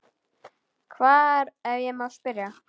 Hvar, ef ég má spyrja?